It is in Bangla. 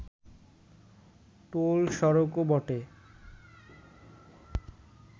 টোল সড়কও বটে